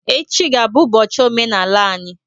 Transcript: Echi ga-abụ ụbọchi omenaala anyị